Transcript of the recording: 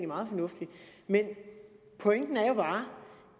meget fornuftigt men pointen er jo bare